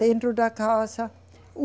Dentro da casa.